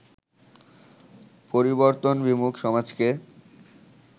পরিবর্তনবিমুখ সমাজকে